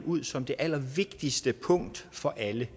ud som det allervigtigste punkt for alle